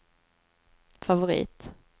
favorit